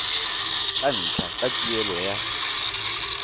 tsa ntlha tsa tuelo ya